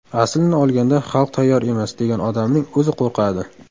Aslini olganda, xalq tayyor emas, degan odamning o‘zi qo‘rqadi.